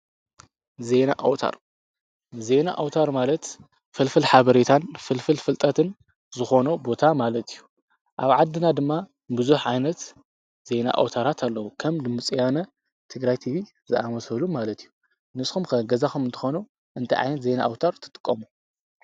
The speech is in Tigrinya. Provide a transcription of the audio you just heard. ዘና ኣውታር ማለት ፍልፍል ኃበሬታን ፍልፍል ፍልጠትን ዝኾኖ ቦታ ማለት እዩ። ኣብ ዓድና ድማ ብዙኅ ዓይነት ዜይና ኣውታራት ኣለዉ ።ከም ድምጺያነ ትግራይ ቲፊ ዝኣመሰበሉ ማለት እዩ። ንስኹም ከገዛኹም እንተኾኖ እንተ ዓይነት ዘይነ ኣውታር ትትቆሙ?